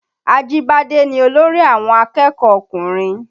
Ajibade ni olórí àwọn akẹ́kọ̀ọ́ ọkùnrin